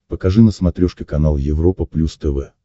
покажи на смотрешке канал европа плюс тв